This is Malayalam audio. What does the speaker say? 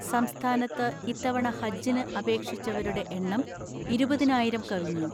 സംസ്ഥാനത്ത് ഇത്തവണ ഹജ്ജിന് അപേക്ഷിച്ച വരുടെ എണ്ണം ഇരുപതിനായിരം കവിഞ്ഞു.